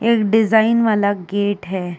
एक डिज़ाइन वाला गेट है।